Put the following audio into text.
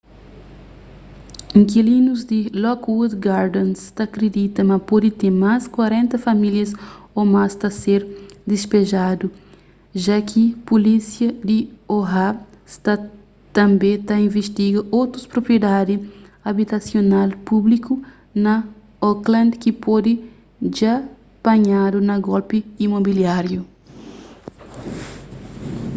inkilinus di lockwood gardens ta kridita ma pode ten más 40 famílias ô más ta ser dispejadu ja ki pulísia di oha sta tanbê ta invistiga otus propriedadi abitasional públiku na oakland ki pode dja panhadu na golpi imobiláriu